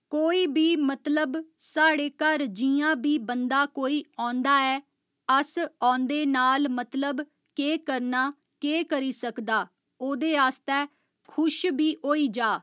कोई बी मतलब साढ़े घर जियां बी बंदा कोई औंदा ऐ अस औंदे नाल मतलब केह् करना केह् करी सकदा ओह्दे आस्तै खुश बी होई जा